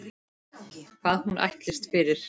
Hvað hún ætlist fyrir.